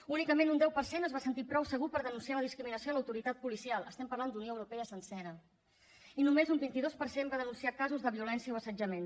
únicament un deu per cent es va sentir prou segur per denunciar la discriminació a l’autoritat policial estem parlant d’unió europea sencera i només un vint dos per cent va denunciar casos de violència o assetjament